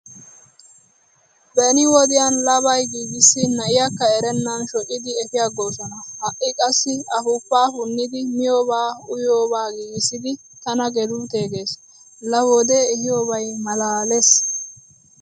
Beni wodiyan labay giigissin na"iyaakka erennan shocidi efiyaaggoosona. Ha"i qassi afuufaa punnidi miyoobaa uyiyoobaa giigissidi "tana geluutee" gees. Laa wodee ehiyoobay malaales.